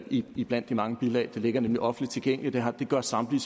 iblandt de mange bilag det ligger nemlig offentligt tilgængeligt og det gør samtlige